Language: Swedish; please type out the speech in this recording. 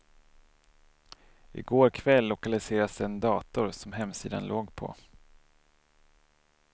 I går kväll lokaliserades den dator som hemsidan låg på.